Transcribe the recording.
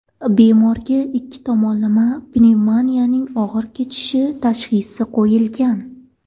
Bemorga ikki tomonlama pnevmoniyaning og‘ir kechishi tashxisi qo‘yilgan.